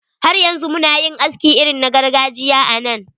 Har yanzu muna yin aski irin na gargajiya a nan.